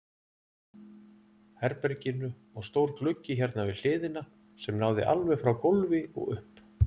herberginu og stór gluggi hérna við hliðina sem náði alveg frá gólfi og upp.